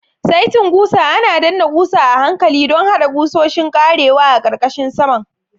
Saitin ƙusa ana danna ƙusa a hankali don haɗa ƙusoshin ƙarewa a ƙarƙashin saman.